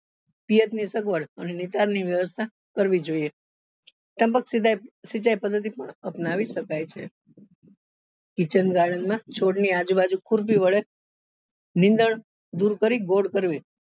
ની સગવડ અને નિકાલ ની વ્યવસ્થા કરવી જોઈએ ટપક સિંચાઈ પદ્ધતિ પણ અપનાવી શકાય છે kitchen garden માં છોડ ની આજુબાજુ વડે નીન્દ્ણ કરવી